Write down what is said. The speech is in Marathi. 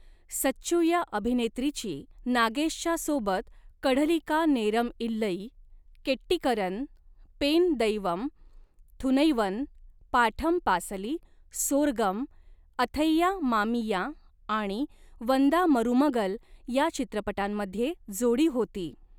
सच्चू या अभिनेत्रीची नागेशच्या सोबत 'कढलिका नेरम इल्लई', 'केट्टीकरन', 'पेन दैवम', 'थुनैवन', 'पाठम पासली', 'सोरगम', 'अथैया मामिया' आणि 'वंदा मरुमगल' या चित्रपटांमध्ये जोडी होती.